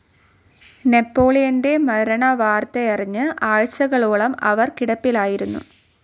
നെപോളിയന്റെ മരണവാർത്തയറിഞ്ഞ് ആഴ്ചകളോളം അവർ കിടപ്പിലായിരുന്നു.